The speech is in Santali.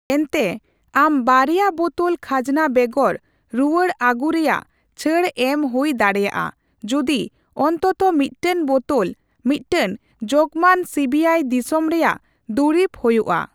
ᱮᱱᱛᱮ, ᱟᱢ ᱵᱟᱨᱭᱟ ᱵᱳᱛᱳᱞ ᱠᱷᱟᱡᱚᱱᱟ ᱵᱮᱜᱚᱨ ᱨᱩᱣᱟᱹᱲ ᱟᱜᱩ ᱨᱮᱭᱟᱜ ᱪᱷᱟᱹᱲ ᱮᱢ ᱦᱩᱭ ᱫᱟᱲᱮᱭᱟᱜᱼᱟ ᱡᱩᱫᱤ ᱚᱱᱛᱚᱛᱚ ᱢᱤᱫᱴᱟᱝ ᱵᱳᱛᱳᱞ ᱢᱤᱫᱴᱟᱝ ᱡᱚᱜᱢᱟᱱ ᱥᱤᱹᱵᱤᱹᱟᱭ ᱫᱤᱥᱚᱢ ᱨᱮᱭᱟᱜ ᱫᱩᱨᱤᱵ ᱦᱩᱭᱩᱜᱼᱟ ᱾